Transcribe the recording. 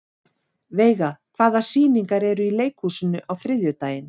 Veiga, hvaða sýningar eru í leikhúsinu á þriðjudaginn?